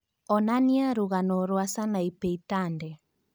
onanĩa rũgano rwa Sanapei Tande